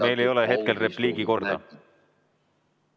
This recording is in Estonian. Teil ei ole hetkel repliigi korda.